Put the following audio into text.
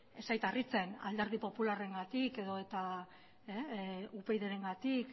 ez zait harritzen alderdi popularrengatik edota upydrengatik